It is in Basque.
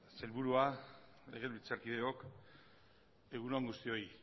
sailburua legebiltzarkideok egun on guztioi